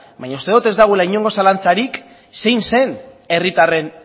baina uste dut ez dagoela inolako zalantzarik zein zen herritarren